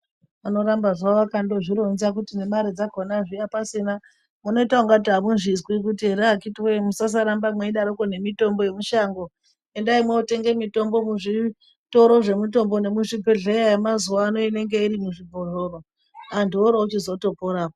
Vanoramba havo vakandozvironza kuti nemare dzakona zviya pasina unoita ungati amuzvizwi kuti ere akiti woye musasarambe mweidaroko nemitombo yemishango endai mwotenga mitombo muzvitoro zvemitombo nemuzvibhehleya yemazuwa ano inenge irimuzvibhotoro antu oro ochizotoporapo.